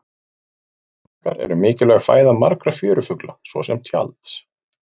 Sandmaðkar eru mikilvæg fæða margra fjörufugla svo sem tjalds.